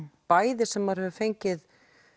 bæði sem maður hefur fengið